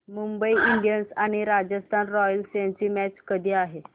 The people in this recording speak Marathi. मुंबई इंडियन्स आणि राजस्थान रॉयल्स यांची मॅच कधी आहे